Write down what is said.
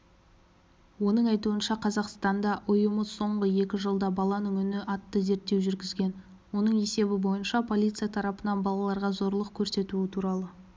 оның айтуынша қазақстанда ұйымы соңғы екі жылда баланың үні атты зерттеу жүргізген оның есебі бойынша полиция тарапынан балаларға зорлық көрсетуі туралы